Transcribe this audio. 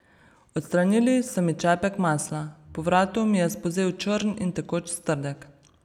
Odstranili so mi čepek masla, po vratu mi je spolzel črn in tekoč strdek.